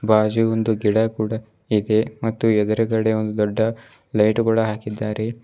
ಬಾಜು ಒಂದು ಗಿಡ ಕೂಡ ಇದೆ ಮತ್ತು ಎದುರುಗಡೆ ಒಂದು ದೊಡ್ಡ ಲೈಟು ಕೂಡ ಹಾಕಿದ್ದಾರೆ.